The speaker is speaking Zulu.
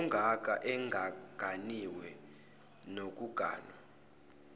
ongaka engaganiwe nokuganwa